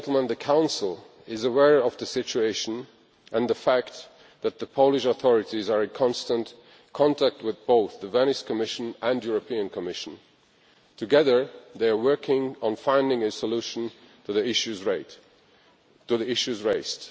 The Council is aware of the situation and of the fact that the Polish authorities are in constant contact with both the Venice Commission and the European Commission. Together they are working on finding a solution to the issues raised.